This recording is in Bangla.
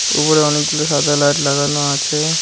উপরে অনেকগুলো সাদা লাইট লাগানো আছে।